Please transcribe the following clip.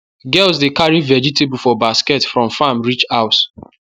girls dey carry vegetable for basket from farm reach house